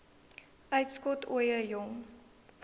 uitskot ooie jong